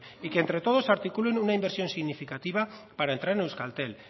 y que entre todos articulen una inversión significativa para entrar en euskaltel